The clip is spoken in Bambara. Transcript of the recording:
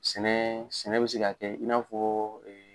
Sɛnɛ sɛnɛ bɛ se ka kɛ i n'a fɔ